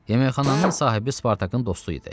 Yeməkxananın sahibi Spartakın dostu idi.